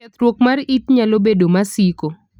Kethruok mar it nalo bedo masiko.